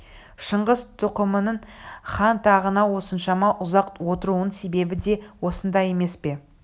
шыңғыс тұқымының хан тағына осыншама ұзақ отыруының себебі де осында емес пе